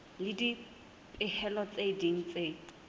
le dipehelo tse ding tse